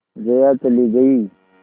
जया चली गई